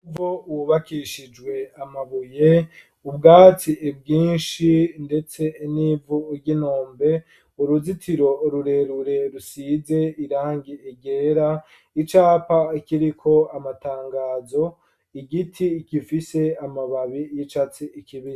Hubakishijwe amabuye ubwatsi bwinshi ndetse n'ivu ry'intombe uruzitiro rurerure rusize irangi ryera icapa kiriko amatangazo igiti kifise amababi y'icatsi kibisi.